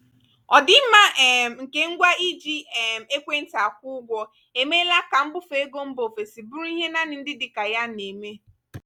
ọdịmma um nke ngwa iji um ekwentị akwụ ụgwọ emeela ka mbufe ego mba ofesi bụrụ ihe naanị ndị dịka ya um na-eme.